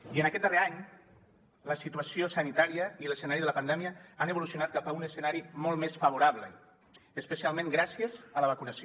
i en aquest darrer any la situació sanitària i l’escenari de la pandèmia han evolucionat cap a un escenari molt més favorable especialment gràcies a la vacunació